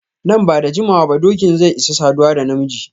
Nan ba da jimawa ba dokin zai isa saduwa da na miji.